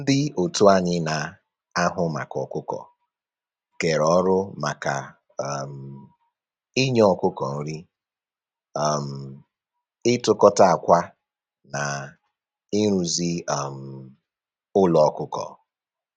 Ndị otu anyị na-ahụ maka ọkụkọ kere ọrụ maka um inye ọkụkọ nri, um ịtụtụkọta akwa na ịrụzi um ụlọ ọkụkọ